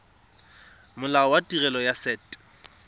molao wa tirelo ya set